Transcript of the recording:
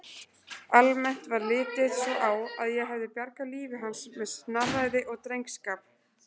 Almennt var litið svo á að ég hefði bjargað lífi hans með snarræði og drengskap.